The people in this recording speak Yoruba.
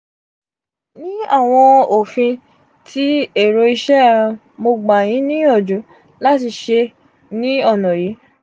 ni awọn ofin ti ero iṣe mogba yin niyanju lati ṣe ni ona yi: